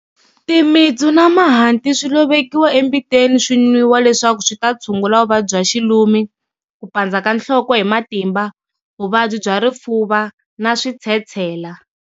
Timitsu na mahanti swi lovekiwa embiteni swi nwiwa leswaku swi ta tshungula vuvabyi bya xilumi, ku pandza ka nhloko hi matimba, vuvabyi bya rifuva na switshetshela.